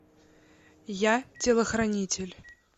я телохранитель